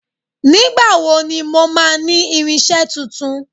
Nígbà wo ni mo máa ní irinsé tuntun?